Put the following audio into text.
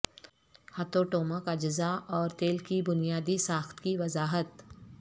ہتھوٹومک اجزاء اور تیل کی بنیادی ساخت کی وضاحت